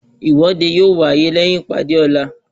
Ìwọ́de yóò wáyé lẹyìn ìpàdé ọ̀la